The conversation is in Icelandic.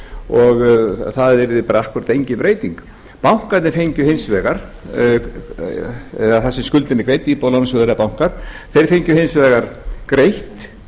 og það yrði akkúrat engin breyting bankarnir fengju hins vegar þar sem skuldin er greidd íbúðalánasjóður eða bankar þeir fengju hins vegar greitt